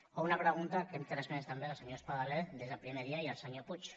o una pregunta que hem transmès també al senyor espadaler des del primer dia i al senyor puig